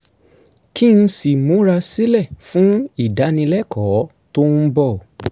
kí n sì múra sílẹ̀ fún ìdánilẹ́kọ̀ọ́ tó ń bọ̀